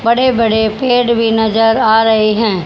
बड़े बड़े पेड़ भी नजर आ रहे हैं।